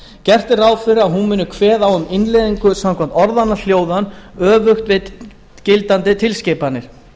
gert er ráð fyrir að hún muni kveða á um innleiðingu samkvæmt orðanna hljóðan öfugt við gildandi tilskipanir